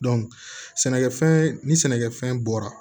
sɛnɛkɛfɛn ni sɛnɛkɛfɛn bɔra